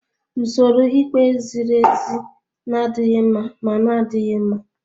Usoro ikpe ziri ezi na-adịghị mma ma na-adịghị mma.